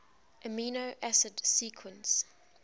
amino acid sequence